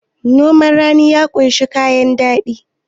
noman rani ya kunshi kayan kudi